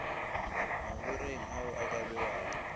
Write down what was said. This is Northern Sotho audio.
magoreng ao a ka bewago